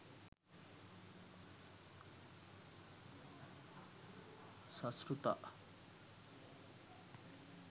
sasrutha